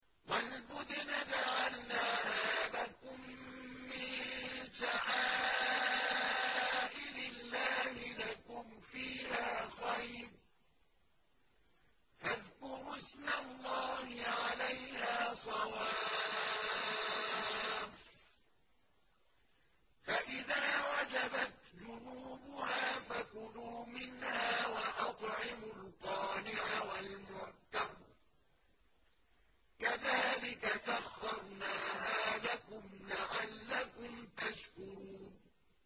وَالْبُدْنَ جَعَلْنَاهَا لَكُم مِّن شَعَائِرِ اللَّهِ لَكُمْ فِيهَا خَيْرٌ ۖ فَاذْكُرُوا اسْمَ اللَّهِ عَلَيْهَا صَوَافَّ ۖ فَإِذَا وَجَبَتْ جُنُوبُهَا فَكُلُوا مِنْهَا وَأَطْعِمُوا الْقَانِعَ وَالْمُعْتَرَّ ۚ كَذَٰلِكَ سَخَّرْنَاهَا لَكُمْ لَعَلَّكُمْ تَشْكُرُونَ